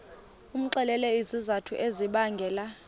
umxelele izizathu ezibangela